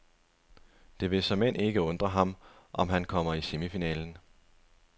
Og det vil såmænd ikke undre ham, om han kommer i semifinalen.